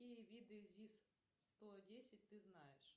какие виды зис сто десять ты знаешь